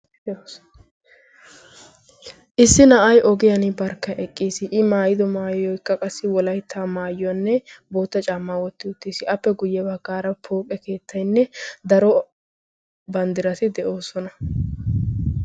issi na'ay ogiyaani barkka eqqiis. i maayido maayoykka zo'o. appe guye bagaara daro banddirati de'oosona.